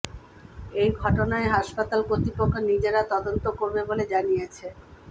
এই ঘটনায় হাসপাতাল কর্তৃপক্ষ নিজেরা তদন্ত করবে বলে জানিয়েছে